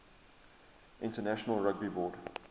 international rugby board